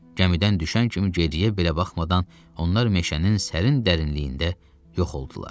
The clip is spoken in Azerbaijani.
Gəmidən düşən kimi geriyə belə baxmadan onlar meşənin sərin dərinliyində yox oldular.